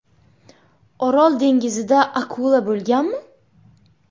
Orol dengizida akula bo‘lganmi?.